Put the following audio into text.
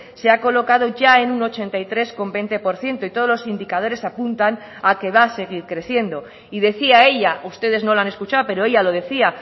se ha colocado ya en un ochenta y tres coma veinte por ciento y todos los indicadores apuntan a que va a seguir creciendo y decía ella ustedes no la han escuchado pero ella lo decía